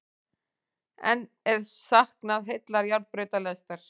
Enn er saknað heillar járnbrautalestar